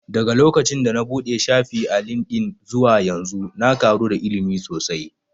Daga lokacin da na buɗe shafi a lindin zuwa yanzu na ƙaru da ilimi sosai